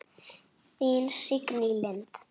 Þín Signý Lind.